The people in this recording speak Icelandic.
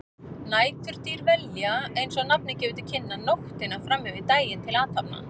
Næturdýr velja, eins og nafnið gefur til kynna, nóttina fram yfir daginn til athafna.